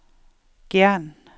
Gjern